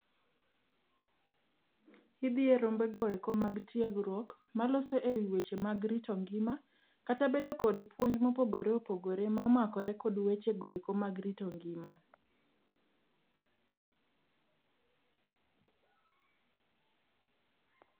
Idhi e rombego eko mag tiegruok. Maloso e wi weche mag rito ngima. Kata bedo kod puonj mopogore opogore momakore kod wechogo eko mag rito ngima.